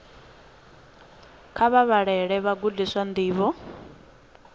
kha vha vhalele vhagudiswa ndivho